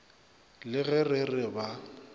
le ge re re ba